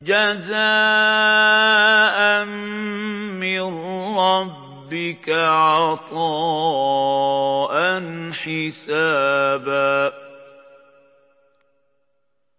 جَزَاءً مِّن رَّبِّكَ عَطَاءً حِسَابًا